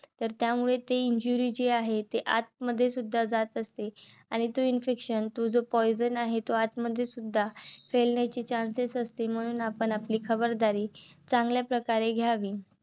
तर त्यामुळे ती injury जी आहे ते आतमध्ये सुद्धा जात असते. आणि तो infection तो जो poison आहे. तो आत मध्ये सुद्धा फैलण्याचे chances असते. म्हणून आपण आपली खबरदारी चांगल्याप्रकारे घ्यावी.